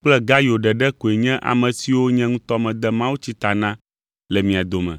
kple Gayo ɖeɖe koe nye ame siwo nye ŋutɔ mede mawutsi ta na le mia dome.